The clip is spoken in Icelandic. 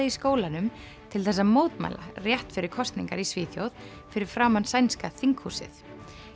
í skólanum til þess að mótmæla rétt fyrir kosningar í Svíþjóð fyrir framan sænska þinghúsið